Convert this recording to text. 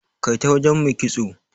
Kai ta wajen Mai kitso.